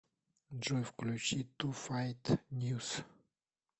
джой включи ту файт ньюс